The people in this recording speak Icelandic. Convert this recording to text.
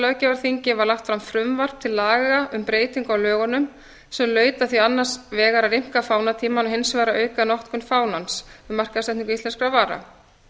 löggjafarþingi var lagt fram frumvarp til laga um breytingu á lögunum sem laut að því annars vegar að rýmka fánatímann og hins vegar að auka notkun fánans við markaðssetningu íslenskra vara